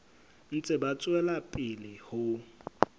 ntse ba tswela pele ho